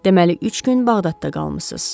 Deməli üç gün Bağdadda qalmısınız.